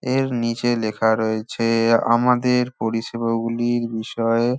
এর নিচে লেখা রয়ে-ছে আমাদের পরিষেবা গুলির বিষয়ে ।